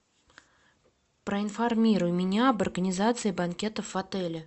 проинформируй меня об организации банкетов в отеле